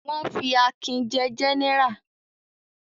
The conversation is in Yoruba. Wọ́n fi Akin jẹ gẹ́nẹrà?